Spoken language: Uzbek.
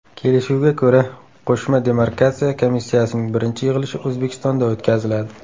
Kelishuvga ko‘ra, qo‘shma demarkatsiya komissiyasining birinchi yig‘ilishi O‘zbekistonda o‘tkaziladi.